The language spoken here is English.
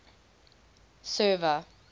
server